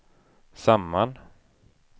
samman